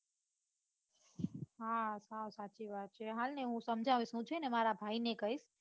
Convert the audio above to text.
હા સાવ સાચી વાત છે હાલ ને હું સમજાવીશ હું છે ને મારા ભાઈ ને કૈસ